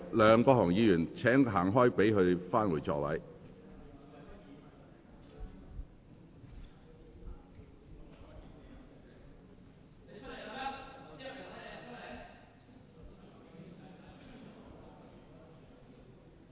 梁國雄議員，請你讓開，讓陳議員返回座位。